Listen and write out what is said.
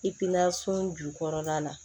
jukɔrɔla la